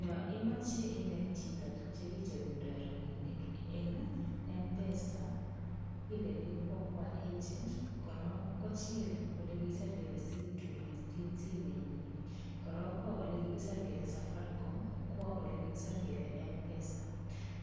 Yo imoche inet chito tukche kicherundoi robinik eng' mpesa ileni kwo Kwa agent korok kochil ole kikiser kele sim tool eng' simenyi koro kwo ole kikiser kele safaricom kwo ole kikiser kele mpesa